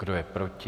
Kdo je proti?